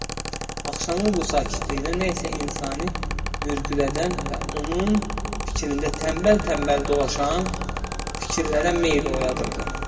axşamın bu sakitliyinə nə isə insani mürgülədən və onun fikrində tənbəl-tənbəl dolaşan fikirlərə meyl oyadırdı.